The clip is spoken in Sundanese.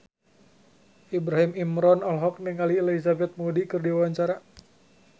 Ibrahim Imran olohok ningali Elizabeth Moody keur diwawancara